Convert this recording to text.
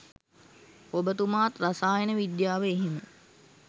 ඔබතුමාත් රසායන විද්‍යාව එහෙම